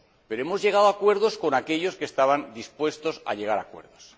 Pero hemos llegado a acuerdos con aquellos que estaban dispuestos a llegar a acuerdos.